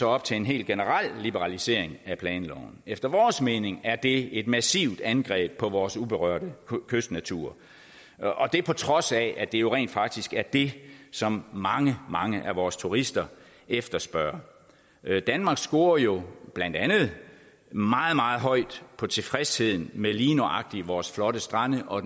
op til en helt generel liberalisering af planloven efter vores mening er det et massivt angreb på vores uberørte kystnatur og det er på trods af at det jo rent faktisk er det som mange mange af vores turister efterspørger danmark scorer jo blandt andet meget meget højt på tilfredsheden med lige nøjagtig vores flotte strande og